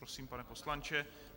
Prosím, pane poslanče.